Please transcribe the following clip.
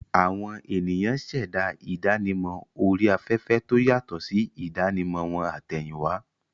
Àwọn ènìyàn ṣẹ̀dá ìdánimọ̀ orí afẹ́fẹ́ tó yàtọ̀ sí ìdánimọ̀ wọn àtẹ̀yìnwá.